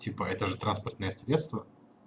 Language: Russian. типа это же транспортное средство